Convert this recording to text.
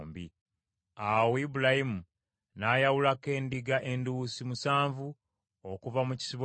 Awo Ibulayimu n’ayawulako endiga enduusi musanvu okuva mu kisibo kye.